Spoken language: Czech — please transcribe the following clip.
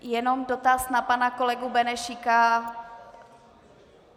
Jenom dotaz na pana kolegu Benešíka.